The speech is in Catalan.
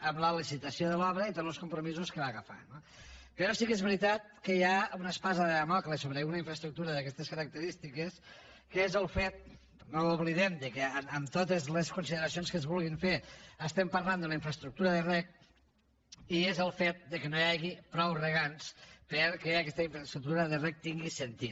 amb la licitació de l’obra i tots los compromisos que va agafar no però sí que és veritat que hi ha una espasa de dàmocles sobre una infraestructura d’aquestes característiques que és el fet no ho oblidem que amb totes les consideracions que es vulgui fer estem parlant d’una infraestructura de reg i és el fet que no hi hagi prou regants perquè aquesta infraestructura de reg tingui sentit